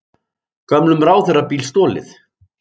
Gömlum ráðherrabíl stolið